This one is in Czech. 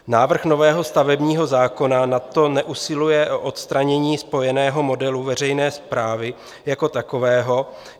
Návrh nového stavebního zákona nadto neusiluje o odstranění spojeného modelu veřejné správy jako takového.